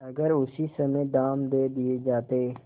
अगर उसी समय दाम दे दिये जाते